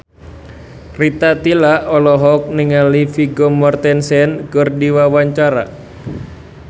Rita Tila olohok ningali Vigo Mortensen keur diwawancara